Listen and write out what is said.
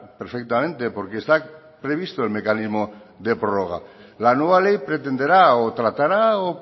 perfectamente porque está previsto el mecanismo de prórroga la nueva ley pretenderá o tratará o